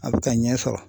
A bɛ ka ɲɛ sɔrɔ